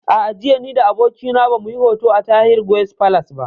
A'a, jiya ni da abokina ba mu yi hoto a Tahir Guest Palace ba